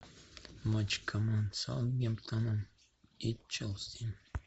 матч команд саутгемптона и челси